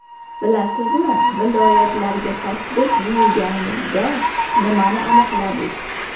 Bilasizmi, viloyatlarga tashrif buyurganimizda nimani aniqladik?